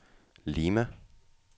Lima